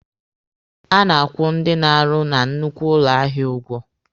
A na-akwụ ndị na-arụ na nnukwu ụlọ ahịa ụgwọ.